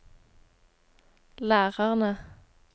lærerne